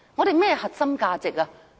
甚麼核心價值呢？